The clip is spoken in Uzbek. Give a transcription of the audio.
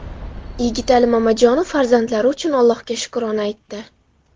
Yigitali Mamajonov farzandlari uchun Ollohga shukrona aytdi.